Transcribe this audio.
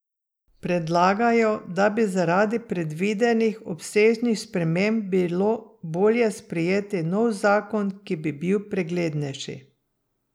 Predlagajo, da bi zaradi predvidenih obsežnih sprememb bilo bolje sprejeti nov zakon, ki bi bil preglednejši.